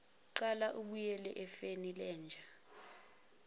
gaqa ubuyele efenilenja